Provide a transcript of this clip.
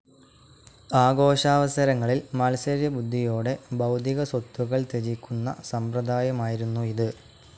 ആഘോഷാവസരങ്ങളിൽ മാത്സര്യബുദ്ധിയോടേ ഭൗതികസ്വത്തുക്കൾ ത്യജിക്കുന്ന സമ്പ്രദായമായിരുന്നു ഇത്.